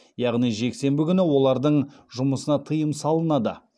яғни жексенбі күні олардың жұмысына тыйым салынады